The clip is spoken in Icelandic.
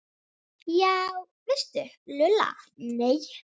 Já veistu Lulla, nei